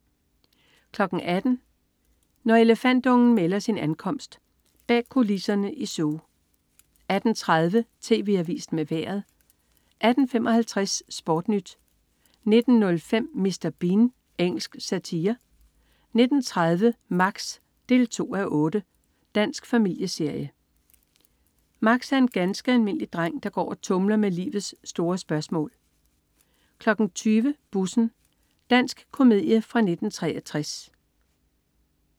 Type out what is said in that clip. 18.00 Når elefantungen melder sin ankomst. Bag kulisserne i zoo 18.30 TV Avisen med Vejret 18.55 SportNyt 19.05 Mr. Bean. Engelsk satire 19.30 Max 2:8. Dansk familieserie. Max er en ganske almindelig dreng, der går og tumler med livets store spørgsmål 20.00 Bussen. Dansk komedie fra 1963